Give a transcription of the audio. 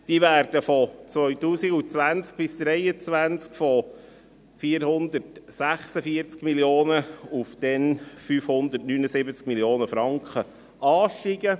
Diese werden von 2020–2023 von 446 Mio. auf 579 Mio. Franken ansteigen.